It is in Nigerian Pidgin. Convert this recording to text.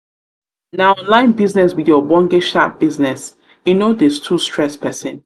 na online business be de ogbenge sharp business e no dey too stress pesin.